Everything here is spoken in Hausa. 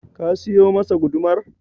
Ka siyo masa gudumar?